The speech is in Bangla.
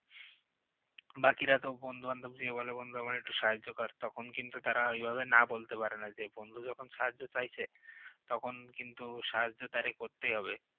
বাকিরা তো বন্ধু-বান্ধবদের যেয়ে বলে আমাকে একটু সাহায্য কর তখন কিন্তু তারা এভাবে না বলতে পারে না যে বন্ধু যখন সাহায্য চাইছে তখন কিন্তু সাহায্য তারে করতেই হবে